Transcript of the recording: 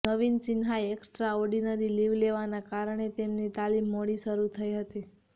નવીના સિન્હાએ extraordinary leave લેવાના કારણે તેમની તાલિમ મોડી શરૂ થઇ હતી